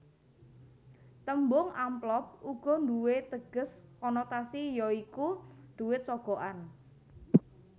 Tembung amplop uga nduwé teges konotasi ya iku dhuwit sogokan